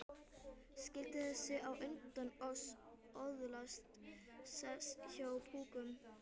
Skyldi þessi á undan oss öðlast sess hjá púkunum?